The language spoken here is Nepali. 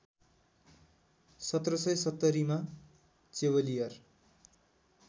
१७७० मा चेवलियर